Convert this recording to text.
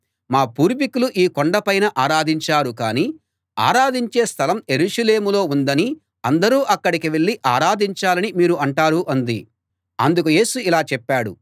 మా పూర్వీకులు ఈ కొండ పైన ఆరాధించారు కానీ ఆరాధించే స్థలం యెరూషలేములో ఉందనీ అందరూ అక్కడికే వెళ్ళి ఆరాధించాలనీ మీరు అంటారు అంది అందుకు యేసు ఇలా చెప్పాడు